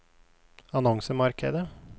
annonsemarkedet